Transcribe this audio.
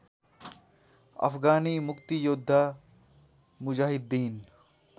अफगानी मुक्तियोद्धा मुजाहिद्दिन